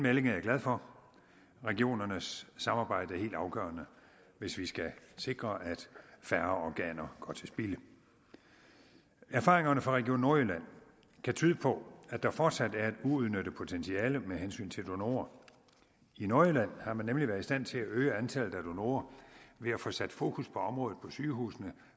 er jeg glad for regionernes samarbejde er helt afgørende hvis vi skal sikre at færre organer går til spilde erfaringerne fra region nordjylland kan tyde på at der fortsat er et uudnyttet potentiale med hensyn til donorer i nordjylland har man nemlig været i stand til at øge antallet af donorer ved at få sat fokus på området på sygehusene